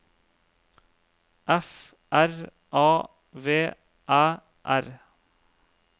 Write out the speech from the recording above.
F R A V Æ R